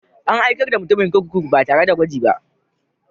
An aikar da mutumin kurkuku ba tare da gwaji ba.